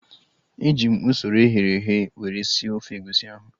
Eji m usoro eghere eghe were sie ofe egusi ahu